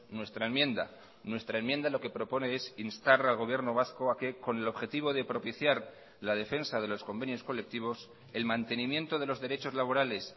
nuestra enmienda nuestra enmienda lo que propone es instar al gobierno vasco a que con el objetivo de propiciar la defensa de los convenios colectivos el mantenimiento de los derechos laborales